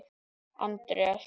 Andreas